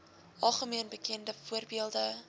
algemeen bekende voorbeelde